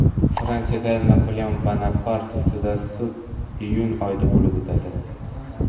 Fransiyada Napoleon Bonapart ustidan sud iyun oyida bo‘lib o‘tadi.